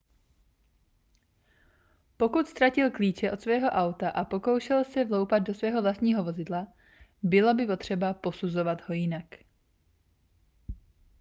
pokud ztratil klíče od svého auta a pokoušel se vloupat do svého vlastního vozidla bylo by potřeba posuzovat ho jinak